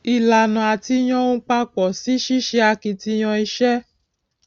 ìlànà àti yàn ohun papọ sí ṣíṣe akitiyan iṣẹ